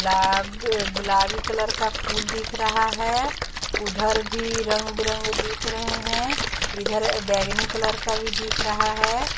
लाब गुलाबी कलर का फूल दिख रहा है उधर भी रंग बिरंगे दिख रहे हैं इधर बैंगनी कलर का भी दिख रहा है।